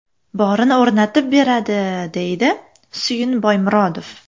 Borini o‘rnatib beradi”, deydi Suyun Boymurodov.